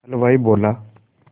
हलवाई बोला